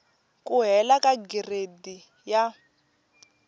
ku hela ka gireyidi ya